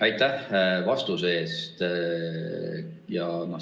Aitäh vastuse eest!